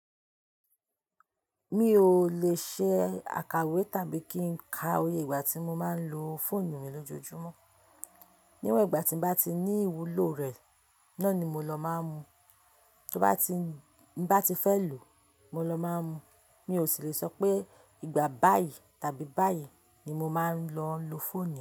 Mi ò lè ṣe àkàwé tàbí kí n ka iye ìgbà tí mo máa ń lo fóònù mi lójoojúmọ́. Níwọ̀n ìgbà tí n bá ti ni ìwúlò rẹ̀, náà ni mo lọ máa ń mu. Ti m bá ti fẹ́ lò, mo lọ máa ń mu. Mi ò sì lè sọ pé ìgbà báyìí tàbí báyìí ni mo máa ń lọ lo fóònù mi.